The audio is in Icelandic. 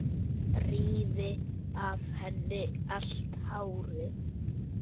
Rífi af henni allt hárið.